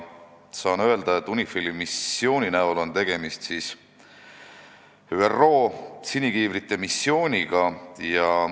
Saan öelda, et UNIFIL-i puhul on tegemist ÜRO sinikiivrite missiooniga.